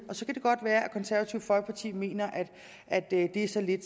og så kan det godt være at konservative folkeparti mener at det er så lidt